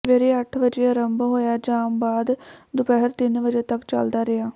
ਸਵੇਰੇ ਅੱਠ ਵਜੇ ਆਰੰਭ ਹੋਇਆ ਜਾਮ ਬਾਦ ਦੁਪਹਿਰ ਤਿੰਨ ਵਜੇ ਤਕ ਚੱਲਦਾ ਰਿਹਾ